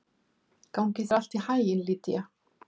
Gangi þér allt í haginn, Lýdía.